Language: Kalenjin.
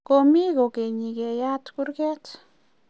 komie kogenyi keyat kurget